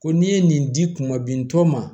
Ko n'i ye nin di kuma bintɔ ma